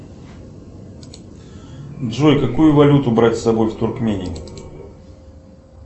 джой какую валюту брать с собой в туркмению